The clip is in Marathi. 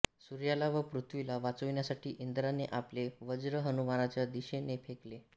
सूर्याला व पृथ्वीला वाचविण्यासाठी इंद्राने आपले वज्र हनुमानाच्या दिशेने फेकले